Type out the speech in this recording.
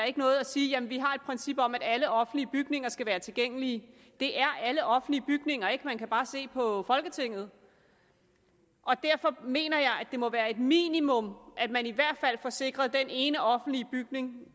ikke noget at sige jamen vi har et princip om at alle offentlige bygninger skal være tilgængelige det er alle offentlige bygninger ikke man kan bare se på folketinget derfor mener jeg at det må være et minimum at man i hvert fald får sikret at den ene offentlige bygning